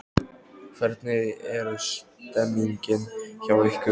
Hvernig er stemmingin hjá ykkur?